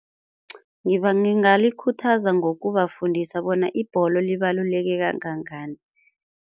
Ngingalikhuthaza ngokubafundisa bona ibholo libalulekile kangangani.